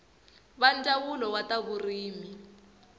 va ndzawulo wa ta vurimi